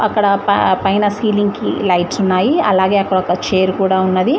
ఇక్కడ పే పైన సీలింగ్ కి లైట్స్ ఉన్నాయి అలాగే అక్కడ ఒక చైర్ కూడా ఉన్నది.